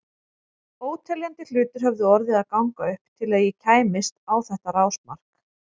Óteljandi hlutir höfðu orðið að ganga upp til að ég kæmist á þetta rásmark.